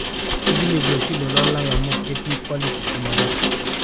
ekilepie oshi lolan lang amu ketii quality shumata